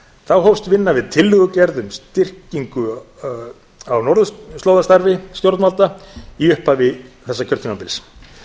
þá hófst vinna við tillögugerð um styrkingu á norðurslóðastarfi stjórnvalda í upphafi þessa kjörtímabils